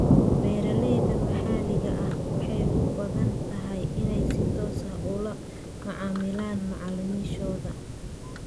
Beeralayda maxalliga ah waxay u badan tahay inay si toos ah ula macaamilaan macaamiishooda.